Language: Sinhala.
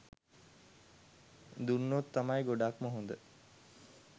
දුන්නොත් තමයි ගොඩක්ම හොඳ.